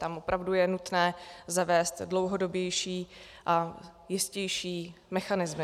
Tam opravdu je nutné zavést dlouhodobější a jistější mechanismy.